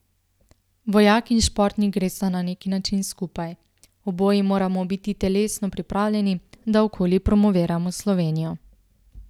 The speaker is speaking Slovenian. Vojak in športnik gresta na neki način skupaj, oboji moramo biti telesno pripravljeni, da okoli promoviramo Slovenijo.